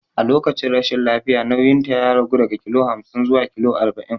A lokacin rashin lafiya nauyinta ya ragu daga kilo hamsin zuwa kilo arba'in.